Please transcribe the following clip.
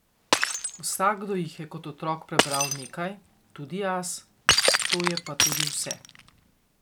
Vsakdo jih je kot otrok prebral nekaj, tudi jaz, to je pa tudi vse.